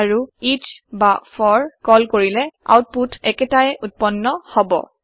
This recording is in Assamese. আৰু এচ বা ফৰ কল কৰিলে আওতপুত একেটা উত্পন্ন হব